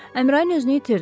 Əmrain özünü itirdi.